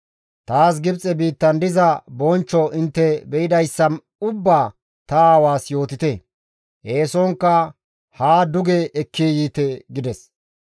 Taas Gibxe biittan diza bonchcho intte be7idayssa ubbaa ta aawaas yootite; eesonkka haa duge ekki yiite» gides.